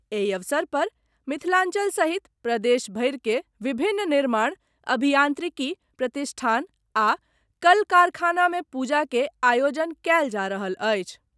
एहि अवसर पर मिथिलांचल सहित प्रदेश भरिक विभिन्न निर्माण, अभियान्त्रिकी प्रतिष्ठान आ कल कारखानामे पूजाक आयोजन कयल जा रहल अछि।